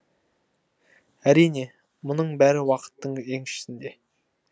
әрине мұның бәрі уақыттың еншісінде